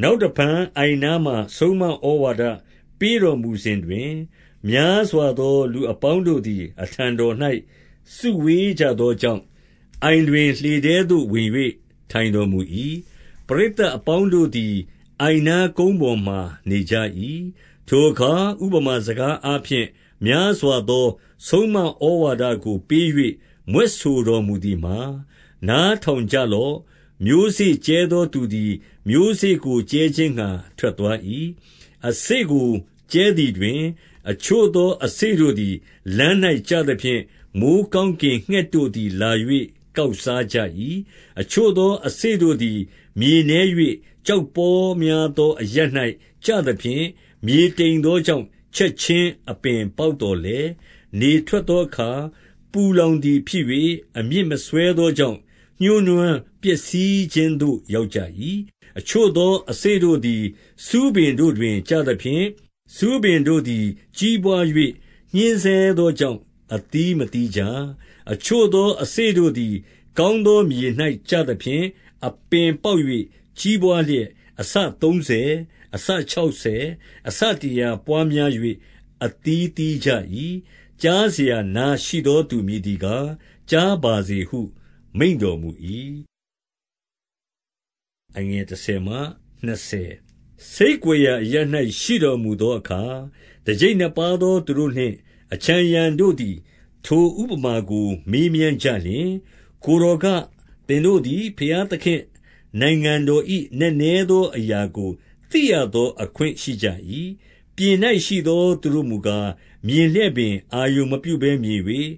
နောက်တဖန် အိုင်နားမှာ ဆုံးမဩဝါဒပေးတော်မူစဉ်တွင်၊ များစွာသောလူအပေါင်းတို့သည် အထံ တော်၌ စုဝေးကြသောကြောင့်၊ အိုင်တွင်လှေထဲသို့ဝင်၍ ထိုင်တော်မူ၏။ ပရိသတ်အပေါင်းတို့သည် အိုင်နား ကုန်းပေါ်မှာနေကြ၏။ 2 ထိုအခါ ဥပမာစကားအားဖြင့် များစွာသောဆုံးမဩဝါဒကို ပေး၍မြွက်ဆိုတော်မူသည်မှာ၊ 3 နားထောင်ကြလော့။ မျိုးစေ့ကြဲသောသူသည် မျိုးစေ့ကိုကြဲခြင်းငှါ ထွက်သွား၏။ 4 အစေ့ကို ကြဲသည်တွင် အချို့သောအစေ့တို့သည် လမ်း၌ကျသဖြင့်၊ မိုဃ်းကောင်းကင်ငှက်တို့သည် လာ၍ ကောက်စားကြ၏။ 5 အချို့သောအစေ့တို့သည် မြေနည်း၍ ကျောက်ပေါများသောအရပ်၌ ကျသဖြင့်၊ မြေတိမ်သောကြောင့် ချက်ခြင်းအပင်ပေါက်သော်လည်း၊ 6 နေထွက်သောအခါ ပူလောင်သည်ဖြစ်၍ အမြစ်မစွဲသောကြောင့် ညှိုးနွမ်းပျက်စီးခြင်းသို့ ရောက်ကြ၏။ 7 အချို့သောအစေ့တို့သည် ဆူးပင်တို့တွင် ကျသဖြင့်၊ ဆူးပင်တို့သည် ကြီးပွား၍ ညှဉ်းဆဲသောကြောင့် အသီးမသီးကြ။ 8 အချို့သောအစေ့တို့သည် ကောင်းသောမြေ၌ ကျသဖြင့်၊ အပင်ပေါက်၍ ကြီးပွားလျက် အဆသုံးဆယ်၊ အဆခြောက်ဆယ်၊ အဆတရာပွားများ၍ အသီးသီးကြ၏။ 9 ကြားစရာ နားရှိသောသူမည်သည်ကား ကြားပါစေဟု မိန့်တော်မူ၏။ 10 ဆိတ်ကွယ်ရာအရပ်၌ ရှိတော်မူသောအခါ တကျိပ်နှစ်ပါးသောသူတို့နှင့် အခြံအရံတော်တို့သည် ထို ဥပမာကို မေးမြန်းကြလျှင်၊ 11 ကိုယ်တော်က၊ သင်တို့သည် ဘုရားသခင့်နိုင်ငံတော်၏နက်နဲသောအရာကို သိရသောအခွင့်ရှိကြ၏။ 12 ပြင်၌ရှိသော ထိုသူတို့မူကား၊ မြင်လျက်ပင် အာရုံမပြုဘဲမြင်၍၊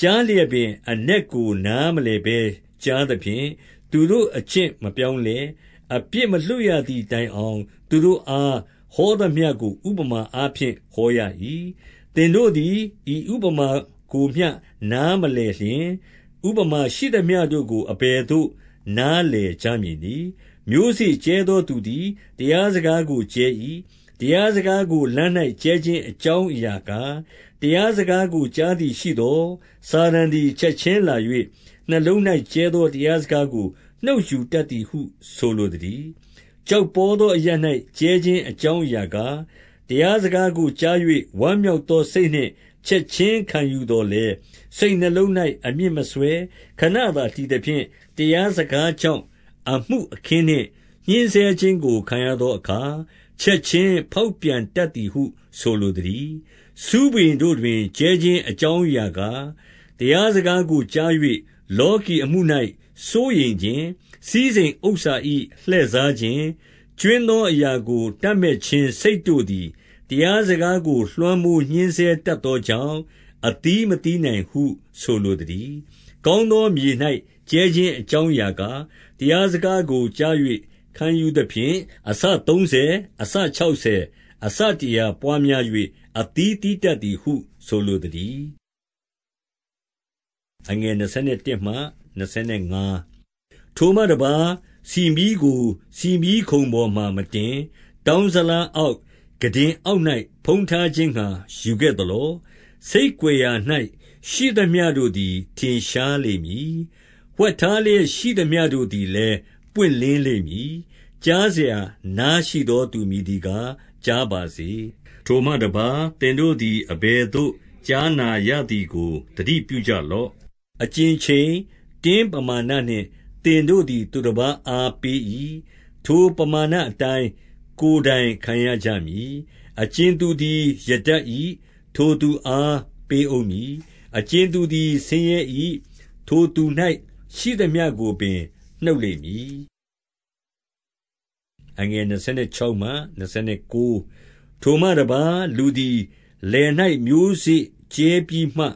ကြားလျက်ပင် အနက်ကို နားမလည် ဘဲ ကြားသဖြင့်၊ သူတို့အကျင့်မပြောင်းလဲ၊ အပြစ်မလွှတ်ရသည်တိုင်အောင် သူတို့အား ဟောသမျှကို ဥပမာ အားဖြင့် ဟောရ၏။ 13 သင်တို့သည် ဤဥပမာကိုမျှ နားမလည်လျှင်၊ ဥပမာရှိသမျှတို့ကို အဘယ်သို့ နားလည်ကြမည်နည်း။ 14 မျိုးစေ့ကြဲသောသူသည် တရားစကားကိုကြဲ၏။ 15 တရားစကားကို လမ်း၌ကြဲခြင်း၊ အကြောင်းအရာကား၊ တရားစကားကို ကြားသည်ရှိသော်၊ စာတန် သည် ချက်ခြင်းလာ၍ နှလုံး၌ကြဲသော တရားစကားကို နှုတ်ယူတတ်သည်ဟု ဆိုလိုသတည်း။ 16 ကျောက်ပေါသောအရပ်၌ ကြဲခြင်းအကြောင်းအရာကား၊ တရားစကားကိုကြား၍ ဝမ်းမြောက်သော စိတ်နှင့်ချက်ခြင်းခံယူသော်လည်း၊ 17 စိတ်နှလုံး၌ အမြစ်မစွဲခဏသာ တည်သဖြင့် တရားစကားကြောင့် အမှုအခင်းနှင့် ညှဉ်းဆဲခြင်းကို ခံရ သောအခါ ချက်ခြင်းဖောက်ပြန်တတ်သည်ဟု ဆိုလိုသတည်း။ 18 ဆူးပင်တို့တွင် ကြဲခြင်းအကြောင်းအရာကား၊ တရားစကားကိုကြား၍၊ 19 လောကီအမှု၌စိုးရိမ်ခြင်း၊ စည်းစိမ်ဥစ္စာ၏ လှည့်စားခြင်း၊ ကြွင်းသောအရာကို တပ်မက်ခြင်းစိတ် တို့ သည် တရားစကားကို လွှမ်းမိုးညှဉ်းဆဲတတ်သောကြောင့် အသီးမသီးနိုင်ဟု ဆိုလိုသတည်း။ 20 ကောင်းသောမြေ၌ ကြဲခြင်းအကြောင်းအရာကား၊ တရားစကားကို ကြား၍ခံယူသဖြင့်၊ အဆသုံးဆယ်၊ အဆခြောက်ဆယ်၊ အဆတရာပွားများ၍ အသီးသီးတတ်သည်ဟု ဆိုလိုသတည်း။ 21 ထိုမှတပါး ဆီမီးကို ဆီမီးခုံပေါ်မှာမတင်၊ တောင်းဇလားအောက်၊ ခုတင်အောက်၌ ဖုံးထားခြင်းငှါ ယူခဲ့ သလော။ 22 ဆိတ်ကွယ်ရာ၌ရှိသမျှတို့သည် ထင်ရှားလိမ့်မည်။ ဝှက်ထားလျက်ရှိသမျှတို့သည်လည်း ပွင့်လင်းလိမ့် မည်။ 23 ကြားစရာနားရှိသောသူ မည်သည်ကား ကြားပါစေ။ 24 ထိုမှတပါး သင်တို့သည် အဘယ်သို့ကြားနာရသည်ကို သတိပြုကြလော့။ အကြင်ချိန်၊ တင်းပမာဏနှင့် သင်တို့သည် သူတပါးအား ပေး၏။ ထိုပမာဏအတိုင်း ကိုယ်တိုင်ခံရကြမည်။ 25 အကြင်သူသည် ရတတ်၏၊ ထိုသူအား ပေးဦးမည်။ အကြင်သူသည် ဆင်းရဲ၏၊ ထိုသူ၌ ရှိသမျှကိုပင် နှုတ်လိမ့်မည်။ 26 ထိုမှတပါး လူသည် လယ်၌ မျိုးစေ့ကြဲပြီးမှ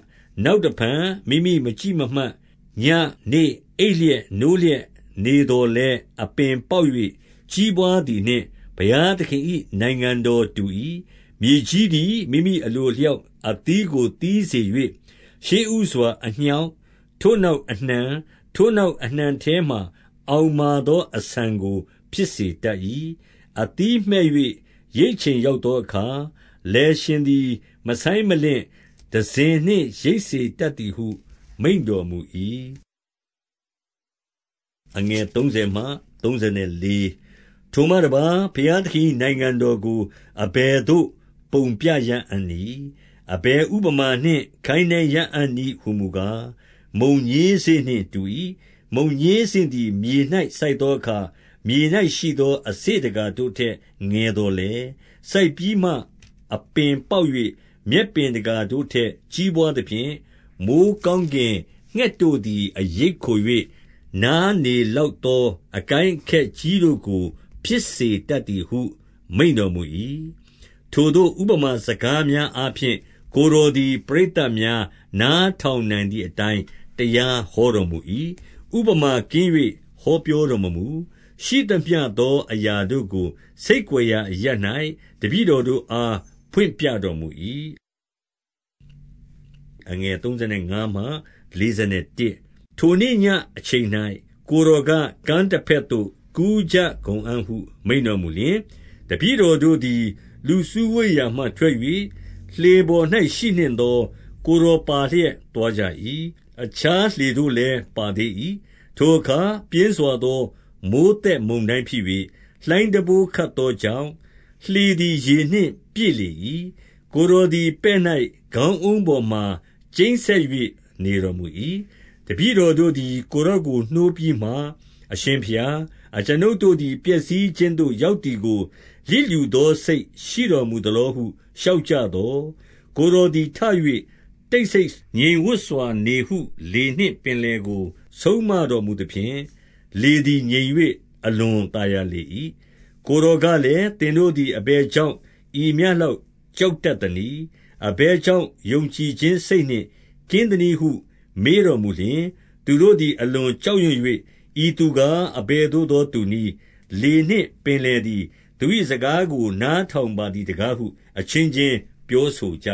နောက်တဖန် မိမိမကြည့်မမှတ်၊ 27 ညဉ့်၊ နေ့၊ အိပ်လျက် ၊ နိုးလျက်နေသော်လည်း အပင်ပေါက်၍ ကြီးပွားသည်နှင့် ဘုရားသခင်၏နိုင်ငံ တော်တူ၏။ 28 မြေကြီးသည် မိမိအလိုအလျောက်အသီးကိုသီးစေ၍ ရှေ့ဦးစွာ အညှောက်၊ ထိုနောက်အနှံ၊ ထိုနောက် အနှံထဲမှာ အောင်မာသောအဆန်ကို ဖြစ်စေတတ်၏။ 29 အသီးမှည့်၍ ရိတ်ချိန်ရောက်သောအခါ၊ လယ်ရှင်သည် မဆိုင်းမလင့်၊ တံစဉ်နှင့် ရိတ်စေတတ် သည်ဟု မိန့်တော်မူ၏။ 30 ထိုမှတပါး ဘုရားသခင်၏နိုင်ငံတော်ကို အဘယ်သို့ပုံပြရအံ့နည်း။ အဘယ်ဥပမာနှင့် ခိုင်းနှိုင်းရအံ့ နည်းဟူမူကား၊ 31 မုန်ညင်းစေ့နှင့်တူ၏။ မုန်ညင်းစေ့သည် မြေ၌စိုက်သောအခါ မြေ၌ရှိသော အစေ့တကာတို့ထက် ငယ် သော်လည်း၊ စိုက်ပြီးမှ အပင်ပေါက်၍၊ 32 မြက်ပင်တကာတို့ထက် ကြီးပွားသဖြင့်၊ မိုဃ်းကောင်းကင်ငှက်တို့သည် အရိပ်ခို၍ နားနေလောက် သော အကိုင်းအခက်ကြီးတို့ကိုဖြစ်စေတတ်သည်ဟု မိန့်တော်မူ၏။ 33 ထိုသို့သော ဥပမာစကားများအားဖြင့် ကိုယ်တော်သည် ပရိသတ်များနားထောင်နိုင်သည်အတိုင်း တရားဟောတော်မူ၏။ 34 ဥပမာကင်း၍ ဟောပြောတော်မမူ။ ရှိသမျှသောအရာတို့ကို ဆိတ်ကွယ်ရာအရပ်၌ တပည့်တော်တို့ အား ဖွင့်ပြတော်မူ၏။ 35 ထိုနေ့ညအချိန်၌ ကိုယ်တော်က၊ ကမ်းတဘက်သို့ ကူးကြကုန်အံ့ဟု မိန့်တော်မူလျှင်၊ 36 တပည့်တော်တို့သည် လူစုဝေးရာမှထွက်၍ လှေပေါ်၌ရှိနှင့်သော ကိုယ်တော်ပါလျက် သွားကြ၏။ အခြားလှေတို့လည်း ပါသေး၏။ 37 ထိုအခါ ပြင်းစွာသောမိုဃ်းသက်မုန်တိုင်းဖြစ်၍ လှိုင်းတံပိုးခတ်သောကြောင့် လှေသည် ရေနှင့် ပြည့် လေ၏။ 38 ကိုယ်တော်သည် ပဲ့၌ ခေါင်းအုံးပေါ်မှာ ကျိန်းစက်၍နေတော်မူ၏။ တပည့်တော်တို့သည် ကိုယ်တော် ကို နှိုးပြီးမှ၊ အရှင်ဘုရား၊ အကျွန်ုပ်တို့သည်ပျက်စီးခြင်းသို့ ရောက်သည်ကို လျစ်လျူသောစိတ်ရှိတော်မူ သ လောဟု လျှောက်ကြသော်၊ 39 ကိုယ်တော်သည် ထ၍ တိတ်ဆိတ်ငြိမ်ဝပ်စွာ နေဟုလေနှင့် ပင်လယ်ကို ဆုံးမတော်မူသဖြင့် လေသည် ငြိမ်၍ အလွန်သာယာလေ၏။ 40 ကိုယ်တော်ကလည်း၊ သင်တို့သည် အဘယ်ကြောင့် ဤမျှလောက်ကြောက်တတ်သနည်း။ အဘယ် ကြောင့် ယုံကြည်ခြင်းစိတ်နှင့် ကင်းသနည်းဟု မေးတော်မူလျှင်၊ 41 သူတို့သည် အလွန်ကြောက်ရွံ့၍ ဤသူကား အဘယ်သို့သောသူနည်း။ လေနှင့် ပင်လယ်သည် သူ၏ စကားကို နားထောင်ပါသည်တကားဟု အချင်းချင်းပြောဆိုကြ